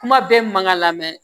Kuma bɛɛ mun man ka lamɛn